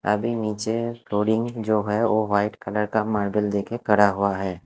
अभी नीचे फ्लोरिंग जो है वो व्हाइट कलर का मार्बल देकर करा हुआ है।